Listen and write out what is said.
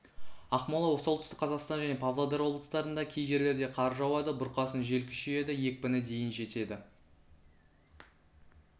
ақмола солтүстік қазақстан және павлодар облыстарында кей жерлерде қар жауады бұрқасын жел күшейеді екпіні дейін жетеді